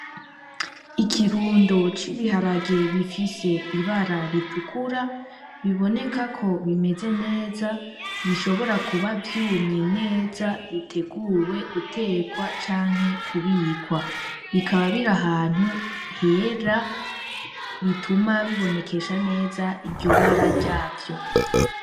Ikirundo c'ibiharage bifise ibara ritukura, bibonekako bimeze neza bishobora kuba vyumye neza biteguwe gutekwa canke kubikwa. Bikaba birahantu hera bituma bibonekesha neza iryobara ryavyo.